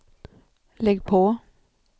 lägg på